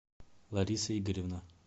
лариса игоревна